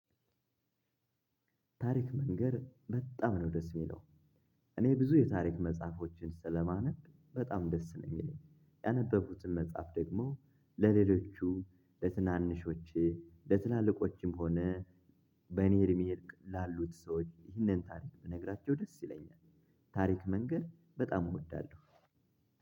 ታሪክ መንገር በጣም ነው ደስ የሚለው እኔ ብዙ የታሪክ መጽሐፎችን ስለማነብ በጣም ደስ ነው የሚለኝ ያነበብኩትን መጽሐፍ ደግሞ ለሌሎቹ ለትናንሾች ለትላልቆችም ሆነ በኔ እድሜ ላሉት ሰዎች ይህንን ታሪክ ብነግራቸው ደስ ይለኛል። ታሪክ መንገር በጣም እወዳለሁ።